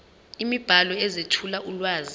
imibhalo ezethula ulwazi